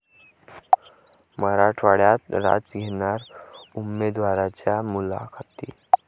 मराठवाड्यात राज घेणार उमेदवारांच्या मुलाखती